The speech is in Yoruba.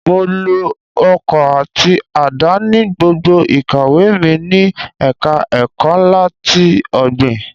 Mo lo ọkọ́ àti àdá ní gbogbo ìkàwé mi ní ẹ̀ka ẹ̀kọ́ ńlá ti ọ̀gbìn.